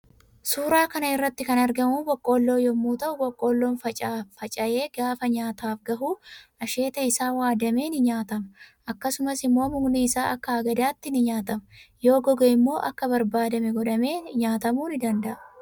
Suuraa kanarratti kan argamu boqqoolloo yommuu ta'u boqqollon facaa'ee gaafa nyaataaf gahu asheeta isaa waadame ni nyaatama akkasumas immo mukni isa Akka hagadaatti ni nyaatama yoo goge immoo immo Akka barbaadame godhaame nyaatamuu ni danda'a.